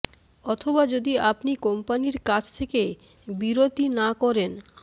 অথবা যদি আপনি কোম্পানীর কাছ থেকে বিরতি না করেন